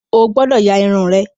O gbọ́dọ̀ ya Irun rẹ!